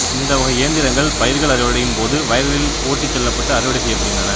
இந்தவகை இயந்திரங்கள் பயிர்கள் அறுவடையின் போது வயல்களில் ஓட்டிச் செல்லப்பட்டு அறுவடை செய்யப்படுகின்றன